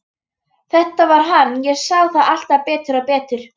Þetta var hann, ég sá það alltaf betur og betur.